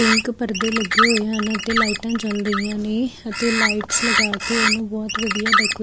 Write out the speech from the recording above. pink ਪਰਦੇ ਲੱਗੇ ਹੋਏ ਹਨ ਅਤੇ ਲਾਈਟਾਂ ਜਲ ਰਹੀਆਂ ਨੇ ਅਤੇ ਲਾਈਟ ਲਗਾ ਕੇ ਉਹਨੂੰ ਬਹੁਤ ਵਧੀਆ ਡੈਕੋ --